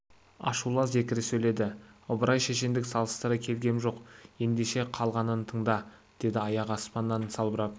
ашулы зекіре сөйледі ыбырай шешендік салыстыра келгем жоқ ендеше қалғанын тыңда деді аяғы аспаннан салбырап